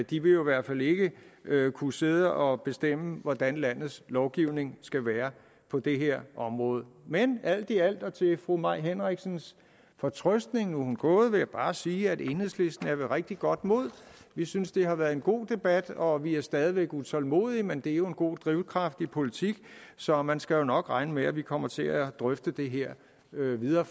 de vil jo i hvert fald ikke kunne sidde og bestemme hvordan landets lovgivning skal være på det her område men alt i alt og til fru mai henriksens fortrøstning nu er hun gået vil jeg bare sige at enhedslisten er ved rigtig godt mod vi synes det har været en god debat og vi er stadig væk utålmodige men det er jo en god drivkraft i politik så man skal nok regne med at vi kommer til at drøfte det her videre